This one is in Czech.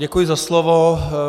Děkuji za slovo.